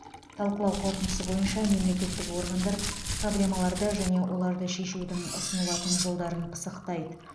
талқылау қорытындысы бойынша мемлекеттік органдар проблемаларды және оларды шешудің ұсынылатын жолдарын пысықтайды